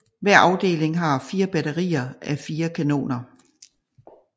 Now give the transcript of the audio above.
Hver afdeling har 4 batterier a 4 kanoner